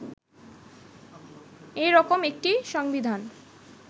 এরকম একটি সংবিধান